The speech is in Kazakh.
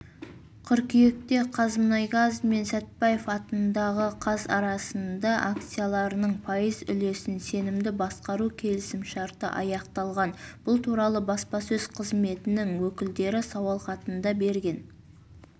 қыркүйекте қазмұнайгаз мен сәтбаев атындағы қаз арасында акцияларының пайыз үлесін сенімді басқару келісімшарты аяқталған бұл туралы баспасөз қызметінің өкілдері сауалхатына берген